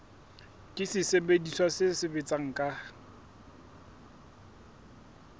ke sesebediswa se sebetsang ka